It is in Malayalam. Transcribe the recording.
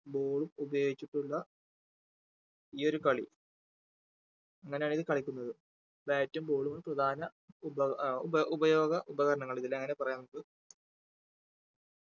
ball ഉം ഉപയോഗിച്ചിട്ടുള്ള ഈ ഒരു കളി അങ്ങനെയാണ് ഇത് കളിക്കുന്നത് bat ഉം ball ഉം ആണ് പ്രധാന ഉപ അഹ് ഉപയോഗ ഉപകരണങ്ങൾ ഇതിൽ അങ്ങനെയാണ് പറയാനുള്ളൂ